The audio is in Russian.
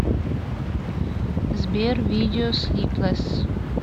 сбер видео слиплесс